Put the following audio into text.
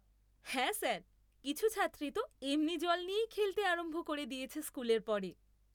হ্যাঁ স্যার, কিছু ছাত্রী তো এমনি জল নিয়েই খেলতে আরম্ভ করে দিয়েছে স্কুলের পরে!